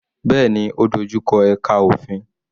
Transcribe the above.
Bẹ́ẹ̀ni, ó dojú kọ ẹka òfin.